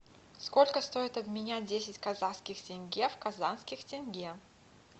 сколько стоит обменять десять казахских тенге в казахских тенге